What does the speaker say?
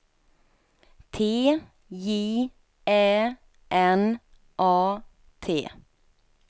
T J Ä N A T